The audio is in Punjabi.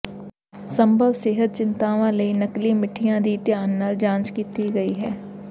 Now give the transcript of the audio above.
ਸੰਭਵ ਸਿਹਤ ਚਿੰਤਾਵਾਂ ਲਈ ਨਕਲੀ ਮਿੱਠੀਆਂ ਦੀ ਧਿਆਨ ਨਾਲ ਜਾਂਚ ਕੀਤੀ ਗਈ ਹੈ